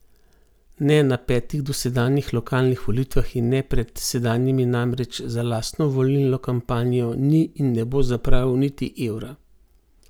Ne na petih dosedanjih lokalnih volitvah in ne pred sedanjimi namreč za lastno volilno kampanjo ni in ne bo zapravil niti evra.